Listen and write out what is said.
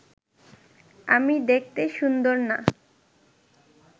আমি দেখতে সুন্দর না